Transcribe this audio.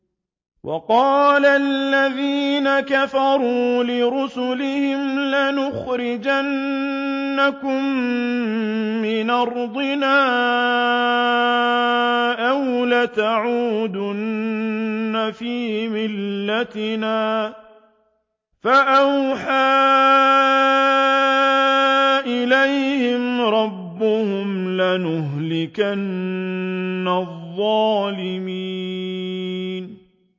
وَقَالَ الَّذِينَ كَفَرُوا لِرُسُلِهِمْ لَنُخْرِجَنَّكُم مِّنْ أَرْضِنَا أَوْ لَتَعُودُنَّ فِي مِلَّتِنَا ۖ فَأَوْحَىٰ إِلَيْهِمْ رَبُّهُمْ لَنُهْلِكَنَّ الظَّالِمِينَ